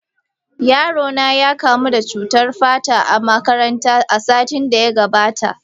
Yaro na ya kamu da cutar fata a makaranta, a satin da ya gabata.